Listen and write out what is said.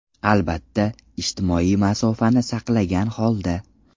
Albatta, ijtimoiy masofani saqlagan holda.